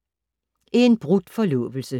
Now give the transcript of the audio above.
En brudt forlovelse